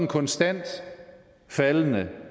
konstant faldende